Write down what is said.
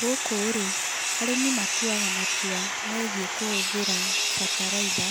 Gũkũ rĩ, arĩmi matuaga matua megiĩ kũhũthĩra bataraitha